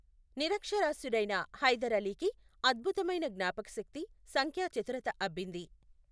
నిరక్షరాస్యుడైన హైదర్ అలీకి అద్భుతమైన జ్ఞాపకశక్తి, సంఖ్యా చతురత అబ్బింది.